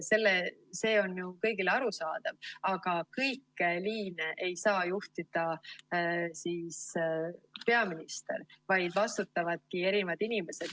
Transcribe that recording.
See on ju kõigile arusaadav, aga kõiki liine ei saa juhtida peaminister, vaid vastutavadki erinevad inimesed.